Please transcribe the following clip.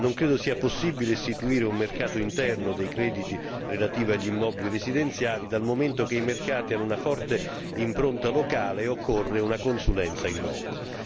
Non credo sia possibile istituire un mercato interno dei crediti relativi agli immobili residenziali, dal momento che i mercati hanno una forte impronta locale e occorre una consulenza in loco.